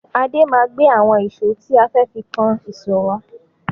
Adé máa gbé àwọn ìṣó tí a fẹ́ fi kan ìsọ̀ wá.